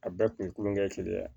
A bɛɛ kun ye kulonkɛ kelen ye wa